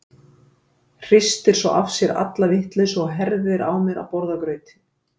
Hristir svo af sér alla vitleysu og herðir á mér að borða grautinn.